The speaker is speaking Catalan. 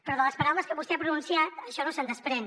però de les paraules que vostè ha pronunciat això no se’n desprèn